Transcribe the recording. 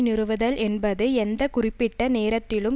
நிறுவுதல் என்பது எந்த குறிப்பிட்ட நேரத்திலும்